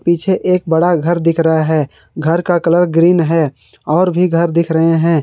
पीछे एक बड़ा घर दिख रहा है घर का कलर ग्रीन है और भी घर दिख रहे हैं।